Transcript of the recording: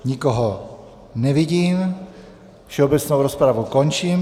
Nikoho nevidím, všeobecnou rozpravu končím.